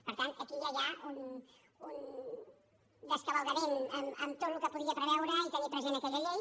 per tant aquí ja hi un descavalcament en tot el que podia preveure i tenir present aquella llei